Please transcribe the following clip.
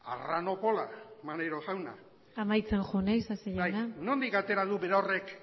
arranopola maneiro jauna amaitzen joan isasi jauna nondik atera du berorrek